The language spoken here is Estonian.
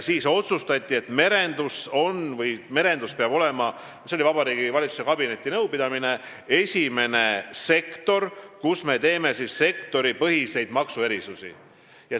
Siis otsustati Vabariigi Valitsuse kabinetinõupidamisel, et merendus peab olema esimene sektor, kus me teeme sektoripõhiseid maksuerisusi.